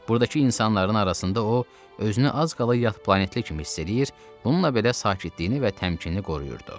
Buradakı insanların arasında o, özünü az qala yad planetli kimi hiss eləyir, bununla da belə sakitliyini və təmkinini qoruyurdu.